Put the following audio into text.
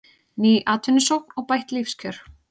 Ný atvinnusókn og bætt lífskjör